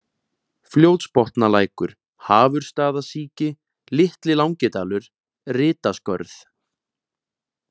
Fljótsbotnalækur, Hafursstaðasíki, Litli-Langidalur, Rytaskörð